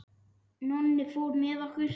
Nonni fór með okkur.